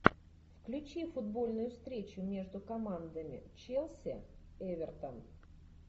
включи футбольную встречу между командами челси эвертон